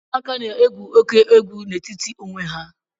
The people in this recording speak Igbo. Ụmụaka na-egwu óké egwu n'etiti onwe ha